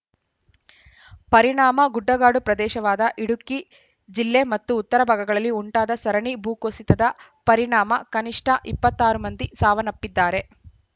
ಪರಿಣಾಮ ಗುಡ್ಡಗಾಡು ಪ್ರದೇಶವಾದ ಇಡುಕ್ಕಿ ಜಿಲ್ಲೆ ಮತ್ತು ಉತ್ತರ ಭಾಗಗಳಲ್ಲಿ ಉಂಟಾದ ಸರಣಿ ಭೂಕುಸಿತದ ಪರಿಣಾಮ ಕನಿಷ್ಠ ಇಪ್ಪತ್ತ್ ಆರು ಮಂದಿ ಸಾವನ್ನಪ್ಪಿದ್ದಾರೆ